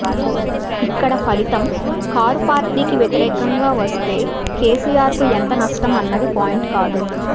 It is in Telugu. ఇక్కడ ఫలితం కారు పార్టీకి వ్యతిరేకంగా వస్తే కేసీఆర్కు ఎంత నష్టం అన్నది పాయింట్ కాదు